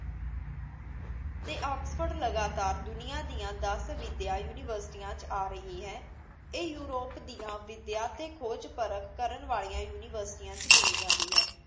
ਅਤੇ ਆਕਸਫ਼ੋਰਡ ਲਗਾਤਾਰ ਦੁਨੀਆ ਦੀਆਂ ਦਸ ਵਿੱਦਿਆ ਯੂਨੀਵਰਸਿਟੀਆਂ 'ਚ ਆ ਰਹੀ ਹੈ। ਇਹ ਯੂਰਪ ਦੀਆਂ ਵਿੱਦਿਆ 'ਤੇ ਖੋਜ ਪਰਖ ਕਰਨ ਵਾਲੀਆਂ ਯੂਨੀਵਰਸਿਟੀਆਂ 'ਚ ਗਿਣੀ ਜਾਂਦੀ ਹੈ